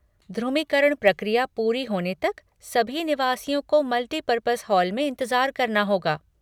ध्रुमीकरण प्रक्रिया पूरी होने तक सभी निवासियों को मल्टीपर्पस हॉल में इंतजार करना होगा।